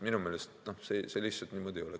Minu meelest see lihtsalt niimoodi ei ole.